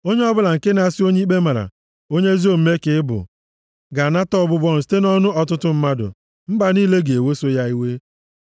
Onye ọbụla nke na-asị onye ikpe mara, “Onye ezi omume ka ị bụ,” + 24:24 Onye ọbụla nke na-asị onye na-emebi iwu, onye ikpe na-amaghị ka ị bụ ga-anata ọbụbụ ọnụ site nʼọnụ ọtụtụ mmadụ, mba niile ga-eweso ya iwe.